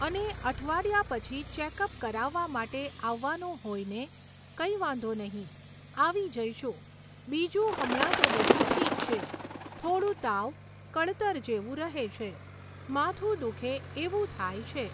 અને અઠવાડિયા પછી ચેકઅપ કરાવવા માટે આવવાનું હોય ને? કંઈ વાંધો નહીં, આવી જઈશું. બીજું હમણાં તો બધું ઠીક છે, થોડું તાવ, કળતર જેવું રહે છે, માથું દુઃખે એવું થાય છે.